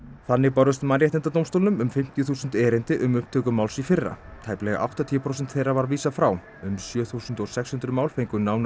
þannig bárust Mannréttindadómstólnum um fimmtíu þúsund erindi um upptöku máls í fyrra tæplega áttatíu prósentum þeirra var vísað frá um sjö þúsund sex hundruð mál fengu nánari